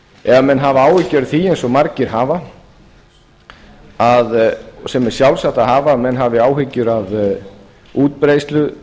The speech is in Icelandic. ef menn hafa áhyggjur af því eins og margir hafa sem er sjálfsagt að hafa að menn hafi áhyggjur af útbreiðslu